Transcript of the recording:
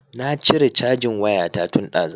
Na cire cajin waya ta tun dazu